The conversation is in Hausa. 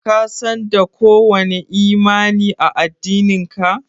Ka San da ko wani imani a. addinin ka?